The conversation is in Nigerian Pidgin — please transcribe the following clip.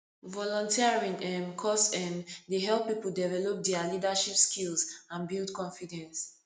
volunteering um cause um dey help people develop dia leadership skills and build confidence